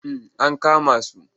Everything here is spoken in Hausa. Ah ankama su.